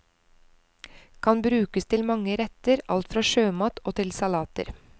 Kan brukes til mange retter, alt fra sjømat og til salater.